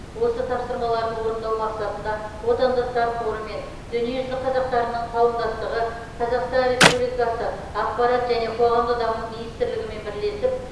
осы тапсырмаларды орындау мақсатында отандастар қоры мен дүниежүзі қазақтарының қауымдастығы қазақстан республикасы ақпарат және қоғамдық даму министрлігімен бірлесіп